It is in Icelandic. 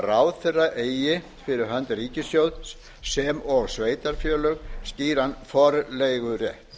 ráðherra eigi fyrir hönd ríkissjóðs sem og sveitarfélög skýran forleigurétt